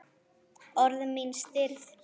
Orð mín stirð.